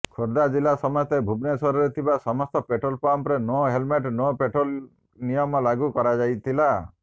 ଖୋର୍ଧା ଜିଲ୍ଲା ସମେତ ଭୁବନେଶ୍ୱରରେ ଥିବା ସମସ୍ତ ପେଟ୍ରୋଲ ପମ୍ପରେ ନୋ ହେଲମେଟ୍ ନୋ ପେଟ୍ରୋଲ ନିୟମ ଲାଗୁ କରାଯାଇଥିଲା